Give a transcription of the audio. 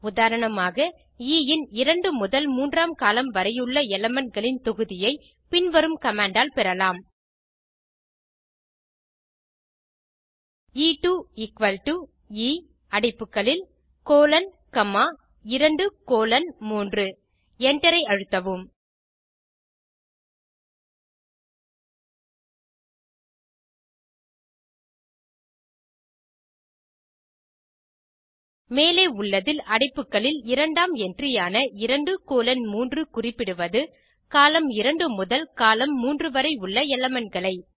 உதாரணமாக எ இன் இரண்டு முதல் மூன்றாம் கோலம்ன் வரையுள்ள elementகளின் தொகுதியை பின் வரும் கமாண்ட் ஆல் பெறலாம் எ2 எ அடைப்புகளில் கோலோன் காமா 2 கோலோன் 3 Enter ஐ அழுத்தவும் மேலே உள்ளதில் அடைப்புகளில் இரண்டாம் என்ட்ரி ஆன 2 கோலோன் 3 குறிப்பிடுவது கோலம்ன் 2 முதல் கோலம்ன் 3 வரை உள்ள elementகளை